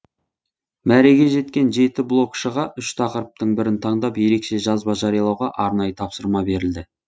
мәреге жеткен жеті блогшыға үш тақырыптың бірін таңдап ерекше жазба жариялауға арнайы тапсырма берілді